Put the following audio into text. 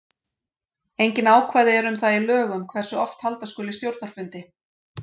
Engin ákvæði eru um það í lögum hversu oft halda skuli stjórnarfundi.